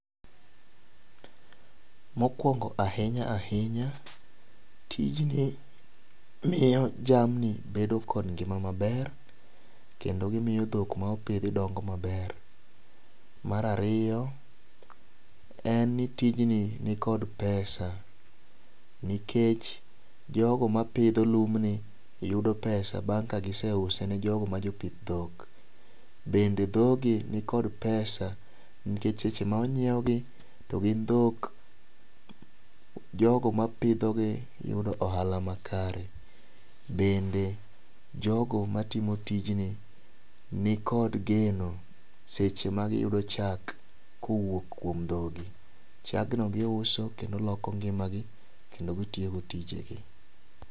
Mokuongo ahinya ahinya, tijni miyo jamni bedo kod ngima maber, kendo gimiyo dhok mopidhi dongo maber. Mar ariyo, en ni tijni nikod pesa nikech jogo mapidho lumbni yudo pesa bang' ka giseuse ni jogo ma jopith dhok. Bende dhogi nikod pesa nikech seche ma onyiewgi to gin dhok, jogo mapidhogi yudo ohala makare. Bende jogo matimo tijni nikod geno seche ma giyudo chak kowuok dhogi. Chagno giuso kendo loko ngimagi kendo gitiyogo tijegi.